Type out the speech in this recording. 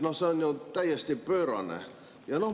No see on ju täiesti pöörane!